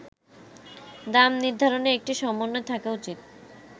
“দাম নির্ধারণে একটি সমন্বয় থাকা উচিত।